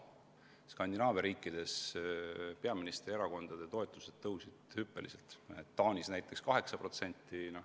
Seevastu Skandinaavia riikides kasvas peaministri erakonna toetus hüppeliselt, Taanis umbes 8%.